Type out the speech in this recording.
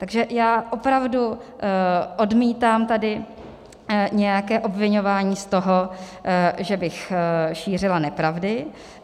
Takže já opravdu odmítám tady nějaké obviňování z toho, že bych šířila nepravdy.